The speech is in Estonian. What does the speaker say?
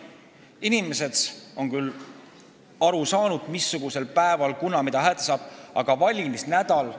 Inimesed on küll aru saanud, kunas mis moel hääletada saab.